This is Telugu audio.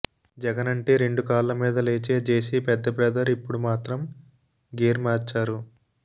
జగన్ అంటే రెండు కాళ్ల మీద లేచే జేసీ పెద్ద బ్రదర్ ఇప్పుడు మాత్రం గేర్ మార్చారు